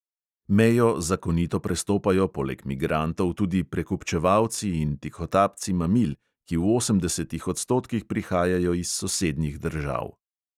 Mejo zakonito prestopajo poleg migrantov tudi prekupčevalci in tihotapci mamil, ki v osemdesetih odstotkih prihajajo iz sosednjih držav.